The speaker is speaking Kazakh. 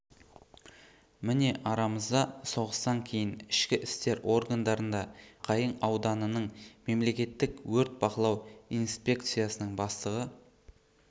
міне арамызда соғыстан кейін ішкі істер органдарында жұмыс істеп аққайың ауданының мемлекеттік өрт бақылау инспекциясының бастығы